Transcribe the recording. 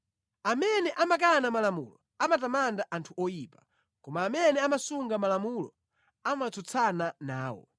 Amene amakana malamulo amatamanda anthu oyipa, koma amene amasunga malamulo amatsutsana nawo.